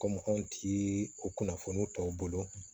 Ko maaw ti o kunnafoniw tɔw bolo